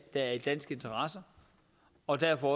er i dansk interesse og derfor